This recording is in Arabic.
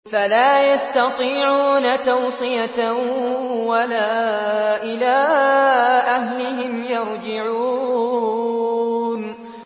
فَلَا يَسْتَطِيعُونَ تَوْصِيَةً وَلَا إِلَىٰ أَهْلِهِمْ يَرْجِعُونَ